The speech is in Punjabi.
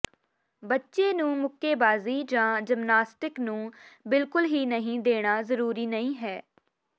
ਬੱਚੇ ਨੂੰ ਮੁੱਕੇਬਾਜ਼ੀ ਜਾਂ ਜਿਮਨਾਸਟਿਕ ਨੂੰ ਬਿਲਕੁਲ ਹੀ ਨਹੀਂ ਦੇਣਾ ਜ਼ਰੂਰੀ ਨਹੀਂ ਹੈ